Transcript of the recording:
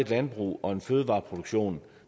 landbrug og en fødevareproduktion